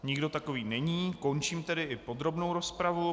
Nikdo takový není, končím tedy i podrobnou rozpravu.